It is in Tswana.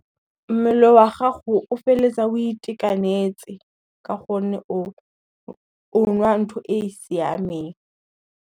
Mmele wa gago o feletsa o itekanetse, ka gonne o nwa ntho e e siameng.